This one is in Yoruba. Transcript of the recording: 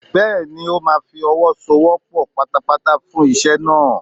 Bẹ́ẹ̀ni, ó máa fi ọwọ́ so ọwọ́ pọ̀ pátápátá fún iṣẹ́ náà.